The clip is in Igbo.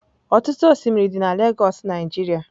Ọtụtụ osimiri dị na Lagos Nigeria.